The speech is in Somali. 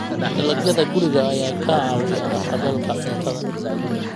Dalagyada guriga ayaa ka caawiya haqab-beelka cuntada.